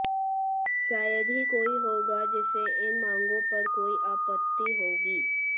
शायद ही कोई होगा जिसे इन मांगों पर कोई आपत्ति होगी